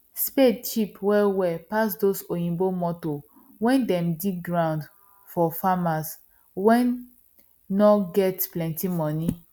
spade cheap well well pass those oyibo motor wen dey dig ground for farmers wen nor get plenty money